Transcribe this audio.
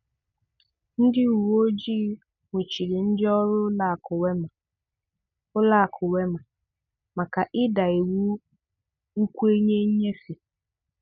Ndị ùwè òjì nwùchírí ndị òrụ Ụ̀lọ̀akụ̀ Wema Ụ̀lọ̀akụ̀ Wema màkà ịdà iwu Nkwènyè Nnyèfè